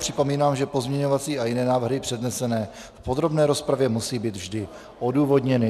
Připomínám, že pozměňovací a jiné návrhy přednesené v podrobné rozpravě musí být vždy odůvodněny.